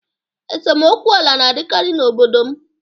Esemokwu ala na-adịkarị n'obodo m